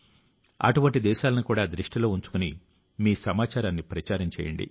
అటువంటి దేశాలను కూడా దృష్టిలో ఉంచుకుని మీ సమాచారాన్ని ప్రచారం చేయండి